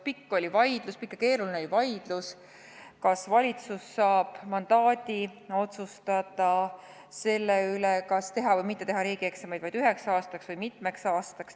Pikk ja keeruline oli vaidlus, kas valitsus saab mandaadi otsustada riigieksamite tegemise või tegemata jätmise üle üheks aastaks või mitmeks aastaks.